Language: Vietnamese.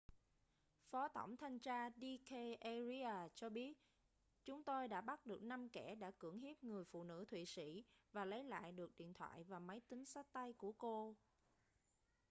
phó tổng thanh tra d k arya cho biết chúng tôi đã bắt được năm kẻ đã cưỡng hiếp người phụ nữ thụy sĩ và lấy lại được điện thoại và máy tính xách tay của cô